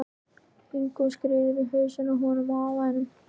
Ingu og skírður í hausinn á honum afa þínum.